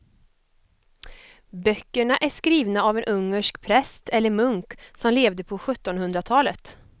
Böckerna är skrivna av en ungersk präst eller munk som levde på sjuttonhundratalet.